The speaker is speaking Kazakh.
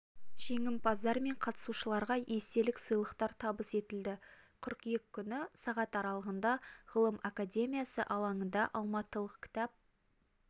жеңімпаздар мен қатысушыларға естелік сыйлықтар табыс етілді қыркүйек күні сағат аралығында ғылым академиясы алаңында алматылық кітап